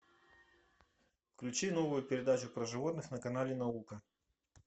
включи новую передачу про животных на канале наука